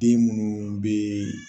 Den minnu bɛ